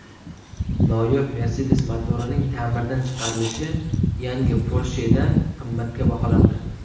Noyob Mercedes motorining ta’mirdan chiqarilishi yangi Porsche’dan qimmatga baholandi.